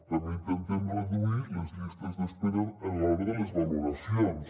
també intentem reduir les llistes d’espera a l’hora de les valoracions